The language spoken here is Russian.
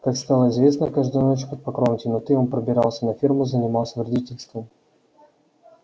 как стало известно каждую ночь под покровом темноты он пробирался на ферму и занимался вредительством